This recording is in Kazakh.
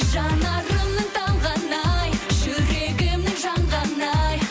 жанарымның талғаны ай жүрегімнің жанғаны ай